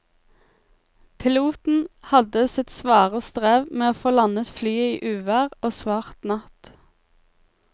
Piloten hadde sitt svare strev med å få landet flyet i uvær og svart natt.